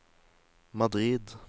Madrid